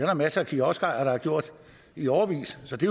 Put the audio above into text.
der masser af kioskejere der har gjort i årevis så det